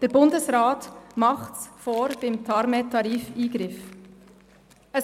Der Bundesrat macht es beim TARMED-Tarif-Eingriff vor.